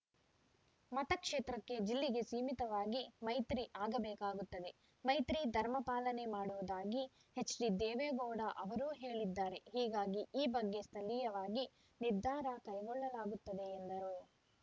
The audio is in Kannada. ಮತ ಕ್ಷೇತ್ರಕ್ಕೆ ಜಿಲ್ಲಿ ಗೆ ಸೀಮಿತವಾಗಿ ಮೈತ್ರಿ ಆಗಬೇಕಾಗುತ್ತದೆ ಮೈತ್ರಿ ಧರ್ಮ ಪಾಲನೆ ಮಾಡುವುದಾಗಿ ಎಚ್‌ಡಿ ದೇವೇಗೌಡ ಅವರೂ ಹೇಳಿದ್ದಾರೆ ಹೀಗಾಗಿ ಈ ಬಗ್ಗೆ ಸ್ಥಳೀಯವಾಗಿ ನಿರ್ಧಾರ ಕೈಗೊಳ್ಳಲಾಗುತ್ತದೆ ಎಂದರು